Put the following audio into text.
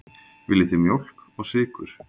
Viljið þið mjólk og sykur?